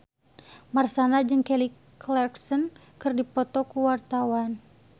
Marshanda jeung Kelly Clarkson keur dipoto ku wartawan